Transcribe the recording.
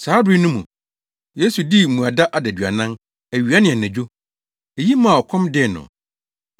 Saa bere no mu, Yesu dii mmuada adaduanan; awia ne anadwo. Eyi maa ɔkɔm dee no.